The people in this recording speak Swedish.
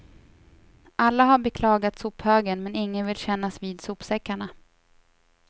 Alla har beklagat sophögen men ingen vill kännas vid sopsäckarna.